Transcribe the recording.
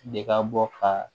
De ka bɔ ka